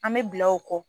An bɛ bila o kɔ